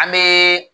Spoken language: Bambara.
An bɛ